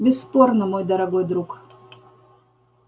бесспорно мой дорогой друг